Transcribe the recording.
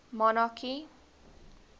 monarchy